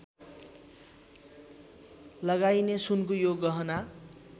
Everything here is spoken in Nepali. लगाइने सुनको यो गहना